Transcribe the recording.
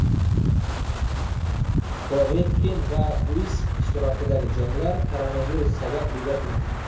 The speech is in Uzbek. Povetkin va Usik ishtirokidagi janglar koronavirus sabab bekor qilindi.